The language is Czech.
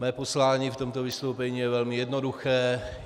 Mé poslání v tomto vystoupení je velmi jednoduché.